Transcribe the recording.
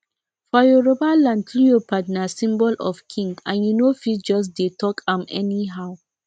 for yoruba land leopard na symbol of king and you no fit just dey talk about am anyhow